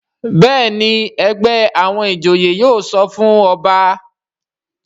Béèni ègbé àwọn ìjòyè yóò sọfún ọba.